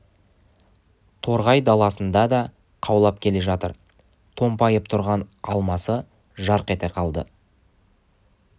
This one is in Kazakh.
торғай даласында да қаулап келе жатыр томпайып тұрған алмасы жарқ ете қалды